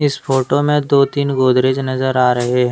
इस फोटो में दो तीन गोदरेज नजर आ रहे हैं।